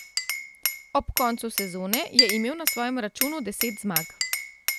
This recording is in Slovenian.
Ob koncu sezone je imel na svojem računu deset zmag.